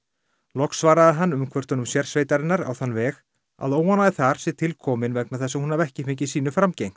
loks svaraði hann umkvörtunum sérsveitarinnar á þann veg að óánægja þar sé til komin vegna þess að hún hafi ekki fengið sínu framgengt